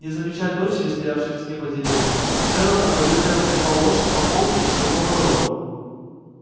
не замечая дочери стоявшей в тени под деревьями джералд одобрительно потрепал лошадь по холке и свернул на дорогу